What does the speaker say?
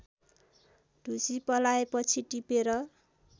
ढुसी पलाएपछि टिपेर